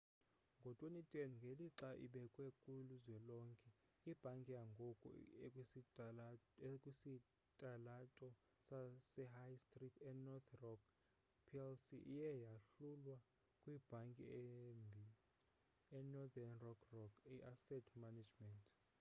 ngo-2010 ngelixa ibekwa kuzwelonke ibhanki yangoku ekwisitalato sehigh stree enorth rock plc iye yahlulwa 'kwibhanki embi' inorthern rock rock i-asset management.